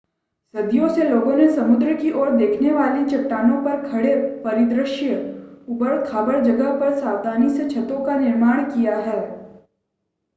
सदियों से लोगों ने समुद्र की ओर देखने वाली चट्टानों पर खड़े परिदृश्य ऊबड़-खाबड़ जगह पर सावधानी से छतों का निर्माण किया है